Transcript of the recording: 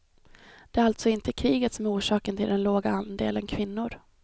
Det är alltså inte kriget som är orsaken till den låga andelen kvinnor.